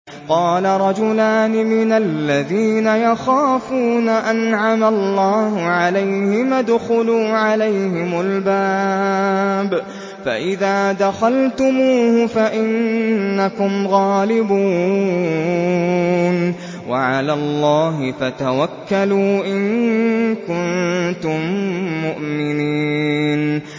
قَالَ رَجُلَانِ مِنَ الَّذِينَ يَخَافُونَ أَنْعَمَ اللَّهُ عَلَيْهِمَا ادْخُلُوا عَلَيْهِمُ الْبَابَ فَإِذَا دَخَلْتُمُوهُ فَإِنَّكُمْ غَالِبُونَ ۚ وَعَلَى اللَّهِ فَتَوَكَّلُوا إِن كُنتُم مُّؤْمِنِينَ